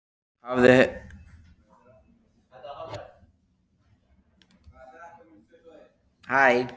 Hann hafði skemmt sér vel þrátt fyrir allt.